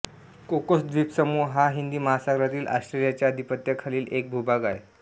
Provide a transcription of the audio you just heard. Cocos द्वीपसमूह हा हिंदी महासागरातील ऑस्ट्रेलियाच्या अधिपत्याखालील एक भूभाग आहे